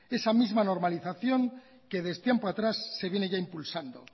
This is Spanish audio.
esa misma normalización que desde tiempo atrás se viene ya impulsando